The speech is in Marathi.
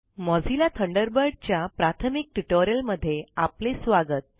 मोझिल्ला थंडरबर्ड च्या प्राथमिक ट्यूटोरियल मध्ये आपले स्वागत